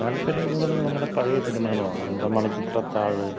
താല്പര്യം കൂടുതല് നമ്മുടെ പഴയ സിനിമകളോടാണ് നമ്മുടെ മണിച്ചിത്രത്താഴ്